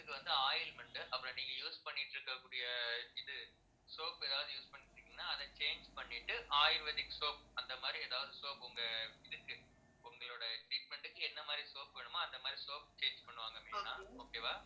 skin க்கு வந்து ointment அப்புறம் நீங்க use பண்ணிட்டு இருக்கக்கூடிய இது soap ஏதாவது use பண்ணிட்டுருக்கீங்கன்னா அதை change பண்ணிட்டு ayurvedic soap அந்த மாதிரி எதாவது soap உங்க இதுக்கு உங்களோட treatment க்கு என்ன மாதிரி soap வேணுமோ அந்த மாதிரி soap change பண்ணுவாங்க main ஆ okay வா